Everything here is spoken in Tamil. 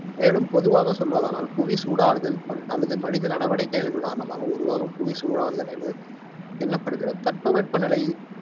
மேலும் பொதுவாக சொல்வதானால் புவி சூடாகுதல், அல்லது மனித நடவடிக்கைகளின் காரணமாக உருவாகும் புவி சூடாகுதல் தட்பவெப்ப நிலை